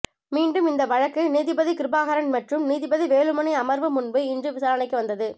மீண்டும் இந்த வழக்கு நீதிபதி கிருபாகரன் மற்றும் நீதிபதி வேலுமணி அமர்வு முன்பு இன்று விசாரணைக்கு வந்தது